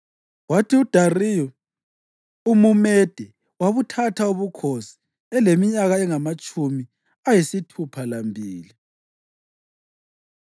kwathi uDariyu umuMede wabuthatha ubukhosi eleminyaka engamatshumi ayisithupha lambili.